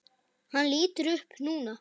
Hann lítur upp núna.